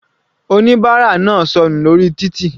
Oníbárà náà sọnù lórí títì.